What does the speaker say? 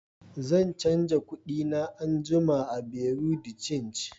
zan canza kudi na anguma a "buerea de change".